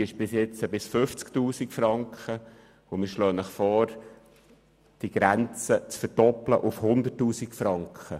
Diese ging bisher bis 50 000 Franken, und wir möchten die Grenze auf 100 000 Franken hinaufzusetzen.